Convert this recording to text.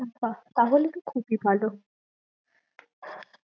ও বা, তাহলে তো খুব ই ভালো